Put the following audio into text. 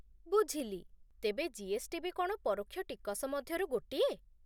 ବୁଝିଲି, ତେବେ ଜି.ଏସ୍.ଟି ବି କ'ଣ ପରୋକ୍ଷ ଟିକସ ମଧ୍ୟରୁ ଗୋଟିଏ ?